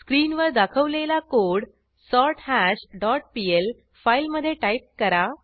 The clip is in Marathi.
स्क्रीनवर दाखवलेला कोड सोर्थाश डॉट पीएल फाईलमधे टाईप करा